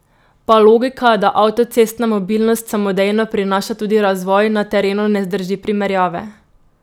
Pa logika, da avtocestna mobilnost samodejno prinaša tudi razvoj, na terenu ne zdrži primerjave!